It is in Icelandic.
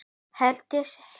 Herdís hér.